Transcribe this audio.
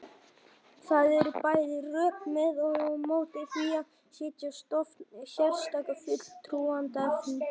Það eru bæði rök með og á móti því að setja á stofn sérstakar fulltrúanefndir.